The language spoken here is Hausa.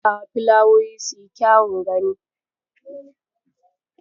Aske shuka yana sakawa filawoyi suyi kyawun gani.